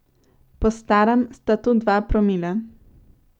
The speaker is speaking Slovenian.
Po starem sta to dva promila!